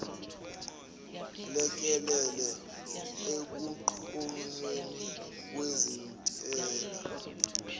lekelele ekunqunyweni kwezintela